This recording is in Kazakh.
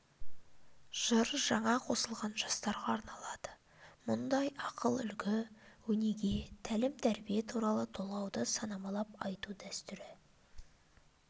жыр жаңа қосылған жастарға арналады мұндай ақыл үлгі өнеге тәлім тәрбие туралы толғауды санамалап айту дәстүрі